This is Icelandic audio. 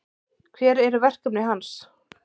Hver eru verkefni hans?